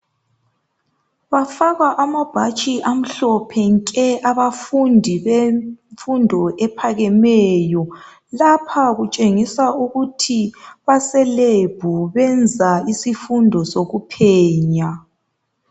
Bafaka amabhatshi amhlophe nke abafundi bemfundo ephakemeyo. Lapha kutshengisa ukuthi baselab benza isifundo sokuphenya